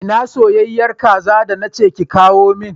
Ina soyayyen kaza da na ce ki kawo min?